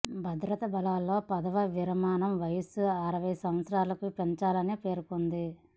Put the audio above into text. భద్రతా బలగాల్లో పదవీ విరమణ వయస్సు అరవై సంవత్సరాలకు పెంచాలని పేర్కొంది